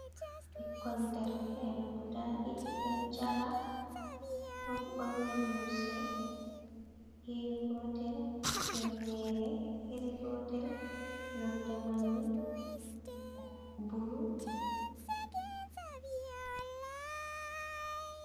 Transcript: Ɓikkon derke'en guda ɗiɗi ɗon jala ɗum ɓorni limse iri gotel, himnere iri gotel nonde manni bulu.